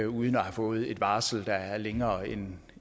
uden at have fået et varsel der er længere end